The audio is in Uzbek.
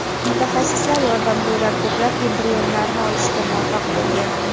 Mutaxassislar yordamida ular ko‘plab embrionlarni olishga muvaffaq bo‘lgan.